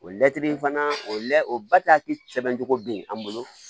O latiri fana o la o bataki sɛbɛn cogo be an bolo